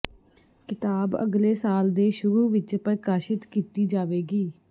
ਕਿਤਾਬ ਅਗਲੇ ਸਾਲ ਦੇ ਸ਼ੁਰੂ ਵਿਚ ਪ੍ਰਕਾਸ਼ਿਤ ਕੀਤੀ ਜਾਵੇਗੀ